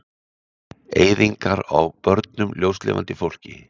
Eyðingar á börnum, ljóslifandi fólki.